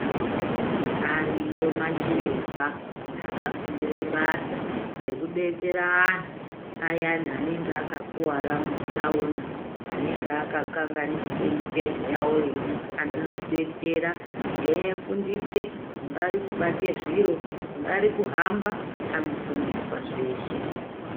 Ariyo machiremba akafundire basa rekudetsera anhu aya anenge akakuvara mumatsaona, anenge akakanganisike mitezo yawo. Anobetsera eyifundise kungari kubata zviro, kungari kuhamba anofundiswa zeshe.